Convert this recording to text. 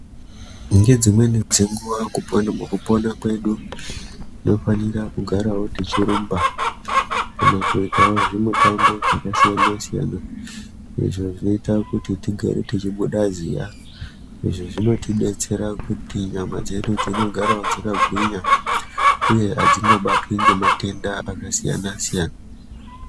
Ngedzimweni dzenguva mukupona kwedu tinofanira kugarawo tichirumba kana kuitawo zvimutambo vakasiyana-siyana izvo zvinoita kuti tigare tichibuda ziya. Izvi zvinotidetsera kuti nyama dzedu dzinogarawo dzakagwinya, uye hatingobatwi ngematenda akasiyana-siyana.